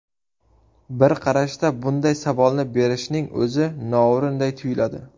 Bir qarashda bunday savolni berishning o‘zi noo‘rinday tuyiladi.